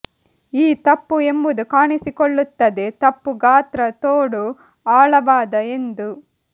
ಈ ತಪ್ಪು ಎಂಬುದು ಕಾಣಿಸಿಕೊಳ್ಳುತ್ತದೆ ತಪ್ಪು ಗಾತ್ರ ತೋಡು ಆಳವಾದ ಎಂದು